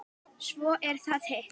Svo er það hitt.